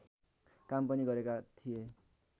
काम पनि गरेका थिए